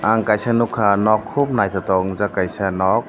ang kaisa nukha nok khub naithotok ungjak kaisa nok.